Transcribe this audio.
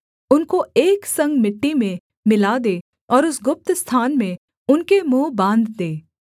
उनको एक संग मिट्टी में मिला दे और उस गुप्त स्थान में उनके मुँह बाँध दे